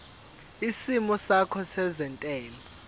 isimo sakho sezentela